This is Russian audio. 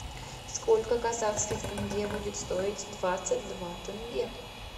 сколько казахских тенге будет стоить двадцать два тенге